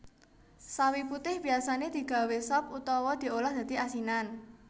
Sawi putih biyasané digawé sop utawa diolah dadi asinan